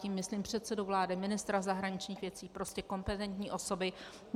Tím myslím předsedu vlády, ministra zahraničních věcí, prostě kompetentní osoby.